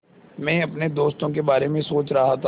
मैं अपने दोस्तों के बारे में सोच रहा था